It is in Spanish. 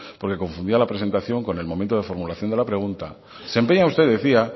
porque confundía la presentación con el momento de formulación de la pregunta se empeña usted decía